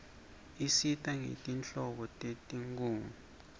isitjela ngetinhlobo tetinkhunga